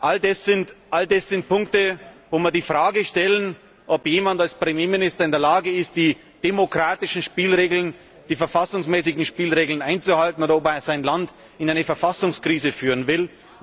All das sind Punkte, wo wir die Frage stellen, ob jemand als Premierminister in der Lage ist, die demokratischen Spielregeln, die verfassungsmäßigen Spielregeln einzuhalten, oder ob er sein Land in eine Verfassungskrise führen will.